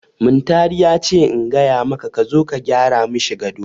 Muntari ya ce in gaya maka ka zo ka gyara mashi gado.